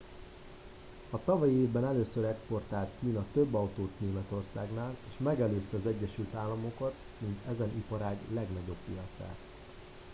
a tavalyi évben először exportált kína több autót németországnál és megelőzte az egyesült államokat mint ezen iparág legnagyobb piacát